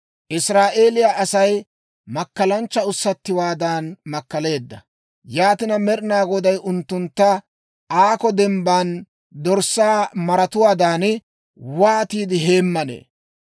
Israa'eeliyaa Asay makkalanchcha ussattiwaadan makkaleedda. Yaatina, Med'inaa Goday unttuntta aakko dembban dorssaa maratuwaadan wootiide heemmanee?